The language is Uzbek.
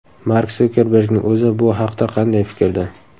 Mark Sukerbergning o‘zi bu haqda qanday fikrda?